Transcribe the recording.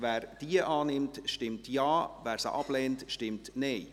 Wer diese annimmt, stimmt Ja, wer sie ablehnt, stimmt Nein.